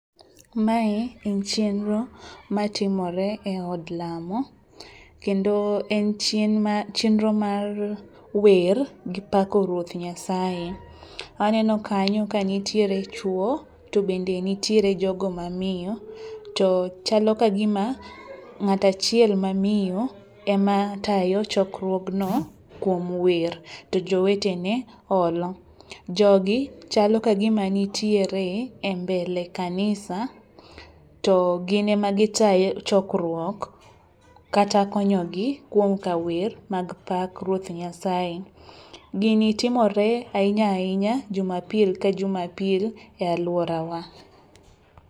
Mae en chenro matimore e od lamo, kendo en chenro mar wer gi pako ruoth Nyasaye. Aneno kanyo kanitiere chwo to bende nitiere jogo mamiyo to chalo kagima ng'at achiel ma miyo ematayo chokruogno kuom wer to jowetene olo. Jogi chalo kagima nitiere e mbele kanisa to gin ema gitayo chokruok kata konyogi kuom kawer mag pak ruoth Nyasaye. Gini timore ahinya ahinya jumapil ka jumapil e alworawa.